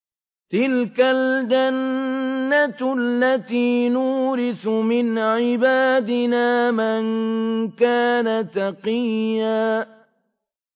تِلْكَ الْجَنَّةُ الَّتِي نُورِثُ مِنْ عِبَادِنَا مَن كَانَ تَقِيًّا